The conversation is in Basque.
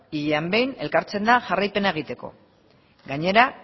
hilean behin elkartzen da jarraipena egiteko gainera